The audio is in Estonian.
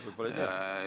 Võib-olla ei tea.